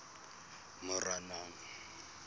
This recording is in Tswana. moranang